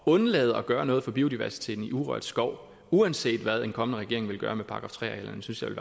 undlade at gøre noget for biodiversiteten i urørt skov uanset hvad en kommende regering vil gøre med § tre arealerne synes